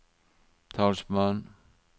talsmann